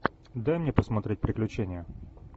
дай мне посмотреть приключения